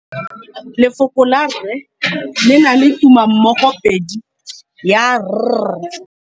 Lefoko la rre le na le tumammogôpedi ya, r.